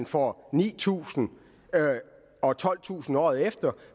får ni tusind og tolvtusind året efter